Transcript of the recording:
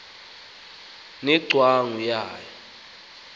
ne ngcwangu yayo